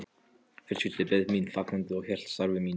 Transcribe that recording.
Fjölskyldan beið mín fagnandi, ég hélt starfi mínu.